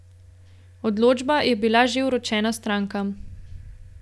Odločba je bila že vročena strankam.